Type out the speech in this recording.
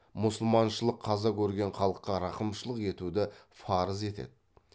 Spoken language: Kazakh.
мұсылманшылық қаза көрген халыққа рақымшылық етуді фарыз етеді